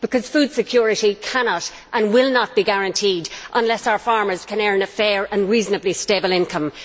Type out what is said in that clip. Food security cannot and will not be guaranteed unless our farmers can earn a fair and reasonably stable income.